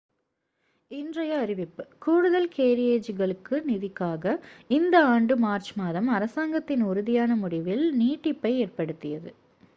இன்றைய அறிவிப்பு கூடுதல் கேரியேஜுகளுக்கான நிதிக்காக இந்த ஆண்டு மார்ச் மாதம் அரசாங்கத்தின் உறுதியான முடிவில் நீட்டிப்பை ஏற்படுத்தியது